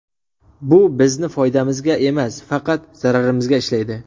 Bu bizni foydamizga emas, faqat zararimizga ishlaydi.